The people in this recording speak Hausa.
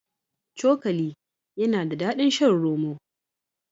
Cokali yana da daɗin shan roma.